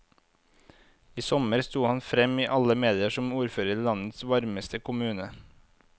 I sommer sto han frem i alle medier som ordfører i landets varmeste kommune.